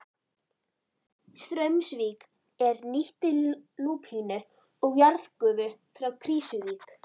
Straumsvík er nýtti lúpínu og jarðgufu frá Krýsuvík.